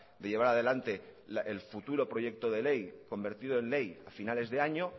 de llevar adelante el futuro proyecto de ley convertido en ley a finales de año